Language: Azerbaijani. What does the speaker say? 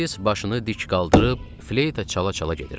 Vialis başını dik qaldırıb, fleyta çala-çala gedirdi.